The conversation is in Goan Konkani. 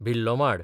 भिल्लोमाड